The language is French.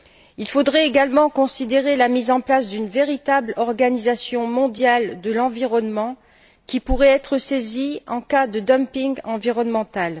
Il faudrait également considérer la mise en place d'une véritable organisation mondiale de l'environnement qui pourrait être saisie en cas de dumping environnemental.